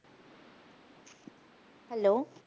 Hello